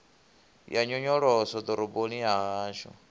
ya nyonyoloso ḓoroboni ya hashu